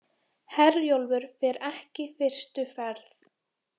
Herjólfur fer ekki fyrstu ferð